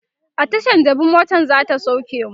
a Tashan jabi motan zata sauke mu